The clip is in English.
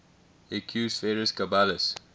equus ferus caballus